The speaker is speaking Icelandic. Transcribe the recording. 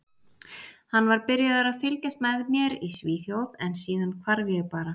Hann var byrjaður að fylgjast með mér í Svíþjóð en síðan hvarf ég bara.